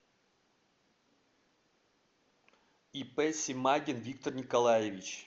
ип семагин виктор николаевич